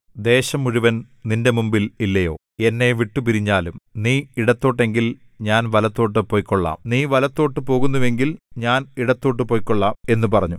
ദേശം മുഴുവൻ നിന്റെ മുമ്പിൽ ഇല്ലയോ എന്നെ വിട്ടുപിരിഞ്ഞാലും നീ ഇടത്തോട്ടെങ്കിൽ ഞാൻ വലത്തോട്ടു പൊയ്ക്കൊള്ളാം നീ വലത്തോട്ടു പോകുന്നുവെങ്കിൽ ഞാൻ ഇടത്തോട്ടു പൊയ്ക്കൊള്ളാം എന്നു പറഞ്ഞു